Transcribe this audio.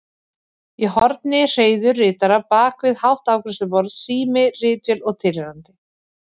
Í horni hreiður ritara bak við hátt afgreiðsluborð, sími, ritvél og tilheyrandi.